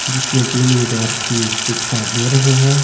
जिसमे तीन विद्यार्थी परीक्षा दे रहे है।